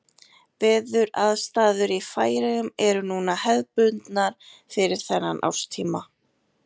Veðuraðstæður í Færeyjum eru núna hefðbundnar fyrir þennan árstíma.